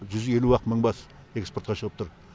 жүз елу ақ мың бас экспортқа шығып тұр